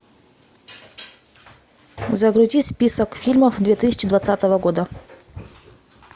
загрузи список фильмов две тысячи двадцатого года